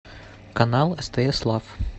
канал стс лав